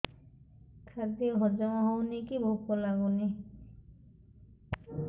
ଖାଦ୍ୟ ହଜମ ହଉନି କି ଭୋକ ଲାଗୁନି